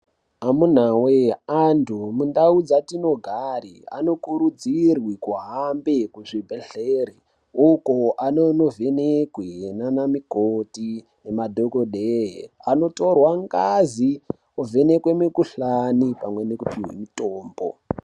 Amunaa wee antu mundau dzatinogare anokurudzirwe kuhambe kuzvibhedhleri uko anonovhenekwe nana mukoti nemadhokodhee anotorwa ngazi ovhenekwe mukhuhlani pamwe nekupuhwe mutombo.